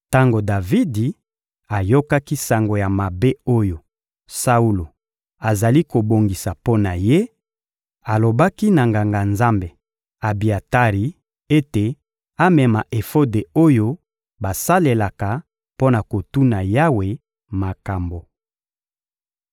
Tango Davidi ayokaki sango ya mabe oyo Saulo azali kobongisa mpo na ye, alobaki na Nganga-Nzambe Abiatari ete amema efode oyo basalelaka mpo na kotuna Yawe makambo.